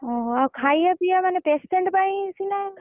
ଓହୋ ଆଉ ଖାଇଆ ପିଆ ମାନେ patient ପାଇଁ snoise ସିନା ।